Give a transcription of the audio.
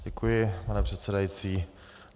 Děkuji, pane předsedající.